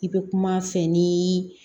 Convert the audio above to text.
I bɛ kuma a fɛ ni